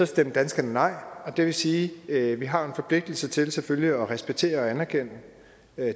stemte danskerne nej og det vil sige at vi har en forpligtelse til selvfølgelig at respektere og anerkende